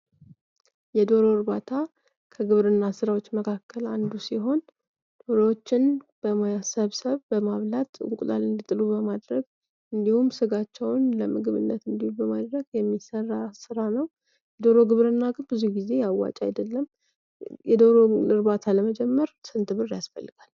የዶሮ እርባታ ከግብርና ስራዎች መካከላ አንዱ ሲሆን ዶሮዎችን በመሰብሰብ በማርባት እንቁላላ እንዲጥሉ በማድረግ እንዲሁም ስጋቸውን ለምግብነት በማቅረብ የሚሰራ ስራ ነው። የዶሮ ግብርና ብዙ ጊዜ አዋጭ አይደለም። የዶሮ እርባታ ለመጀመር ስንት ብር ያስፈልጋል?